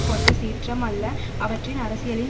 கொண்ட சீற்றம் அல்ல அவற்றின் அரசியலின்